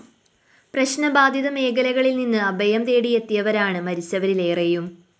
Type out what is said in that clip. പ്രശ്നബാധിത മേഖലകളില്‍ നിന്ന് അഭയം തേടി എത്തിയവരാണ് മരിച്ചവരിലേറെയും